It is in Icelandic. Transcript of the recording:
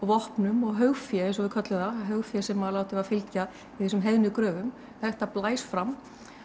vopnum og haugfé eins og við köllum það haugfé sem var látið fylgja í þessum heiðnu gröfum þetta blæs fram